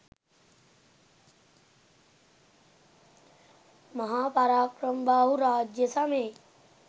මහා පරාක්‍රමබාහු රාජ්‍ය සමයේ